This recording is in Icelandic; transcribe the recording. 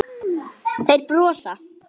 Þeir brosa.